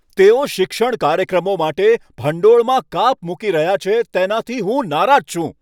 તેઓ શિક્ષણ કાર્યક્રમો માટે ભંડોળમાં કાપ મૂકી રહ્યા છે તેનાથી હું નારાજ છું.